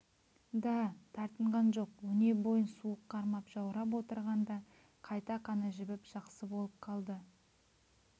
да тартынған жоқ өнебойын суық қармап жаурап отырғанда қайта қаны жібіп жақсы болып қалды